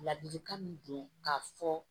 Ladilikan min don k'a fɔ